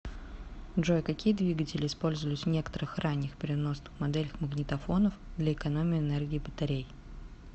джой какие двигатели использовались в некоторых ранних переносных моделях магнитофонов для экономии энергии батарей